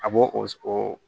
A b'o o